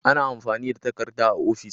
Ana amfani da takarda a ofis.